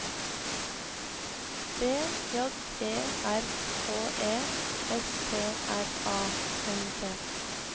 B J E R K E S T R A N D